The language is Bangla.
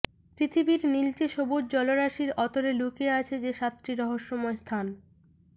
পৃথিবীর নীলচে সবুজ জলরাশির অতলে লুকিয়ে আছে যে সাতটি রহস্যময় স্থান